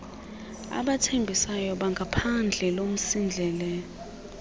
abathembisayo bangaphandle lomsindleko